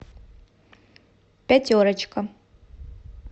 пятерочка